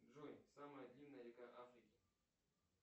джой самая длинная река африки